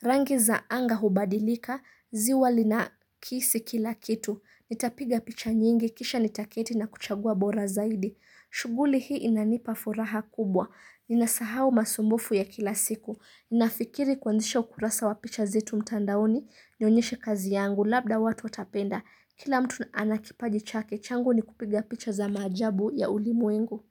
Rangi za anga hubadilika, ziwa lina kisi kila kitu Nitapiga picha nyingi, kisha nitaketi na kuchagua bora zaidi shughuli hii inanipa furaha kubwa Ninasahau masumbufu ya kila siku Ninafikiri kuanzisha ukurasa wa picha zetu mtandaoni Nionyeshe kazi yangu, labda watu watapenda Kila mtu ana kipaji chake, changu ni kupiga picha za maajabu ya ulimwengu.